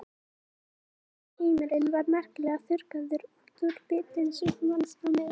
Hinn heimurinn var merkilega þurrkaður út úr vitund manns á meðan.